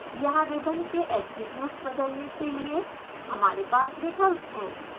यहाँ रिबन के ऐट्रिब्यूट्स बदलने के लिए हमारे पास विकल्प हैं